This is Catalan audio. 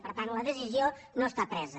per tant la decisió no està presa